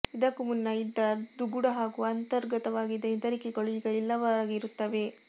ಇದಕ್ಕೂ ಮುನ್ನ ಇದ್ದ ದುಗುಡ ಹಾಗೂ ಅಂತರ್ಗತವಾಗಿದ್ದ ಹೆದರಿಕೆಗಳೂ ಈಗ ಇಲ್ಲವಾಗಿರುತ್ತವೆ